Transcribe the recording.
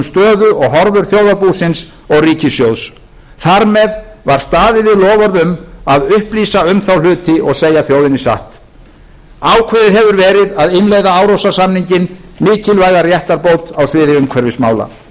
og horfur þjóðarbúsins og ríkissjóðs þar með var staðið við loforð um að upplýsa um þá hluti og segja þjóðinni satt ákveðið hefur verið að innleiða árósasamninginn mikilvæga réttarbót á sviði umhverfismála hætt